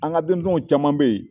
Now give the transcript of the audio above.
An ka denmisɛnw caman be yen